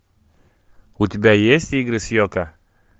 у тебя есть игры с йоко